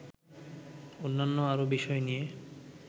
অন্যান্য আরো বিষয় নিয়ে